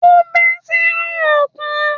Ó bẹ́ sínú òkun